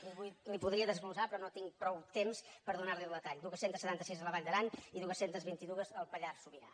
li ho podria desglossar però no tinc prou temps per donar li el detall dos cents i setanta sis a la vall d’aran i dos cents i vint dos al pallars sobirà